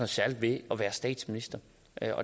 særligt ved at være statsminister